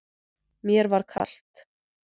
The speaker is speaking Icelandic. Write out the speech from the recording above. Mér var kalt.